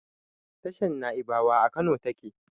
Tashar Naibawa a Kano take